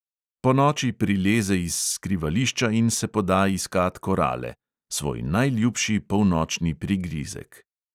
Ponoči prileze iz skrivališča in se poda iskat korale – svoj najljubši polnočni prigrizek.